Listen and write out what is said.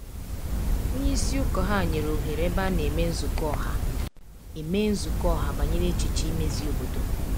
Onye isi ụkọ ya nyere ohere ebe a na emee nzukọ ọha emee nzukọ ọha banyere echiche imezi obodo.